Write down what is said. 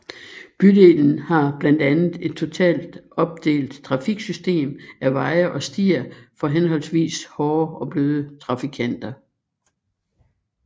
Bydelen har blandt andet et totalt opdelt trafiksystem af veje og stier for henholdsvis hårde og bløde trafikanter